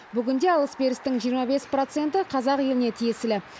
бүгінде алыс берістің жиырма бес проценті қазақ еліне тиесілі